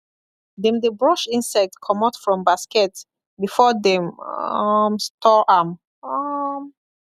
dem dey brush insect comot from basket before dem um store am um